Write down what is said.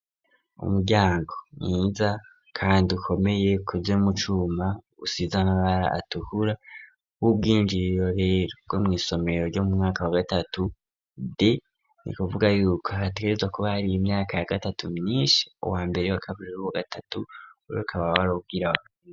Umuryango mwiza kandi ukomeye ukozwee mucuma usize amabara atuhura w'ubwinjiro rerwo mu isomero ryo mu mwaka wa gatatu d ni kuvuga yuko hatezwa kuba hari imyaka ya gatatu myinshi uwambere'wakaburirubu gatatu uri ukabawarobwiraho.